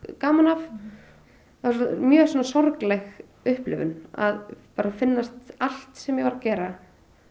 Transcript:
gaman af það var mjög sorgleg upplifun að finnast allt sem ég var að gera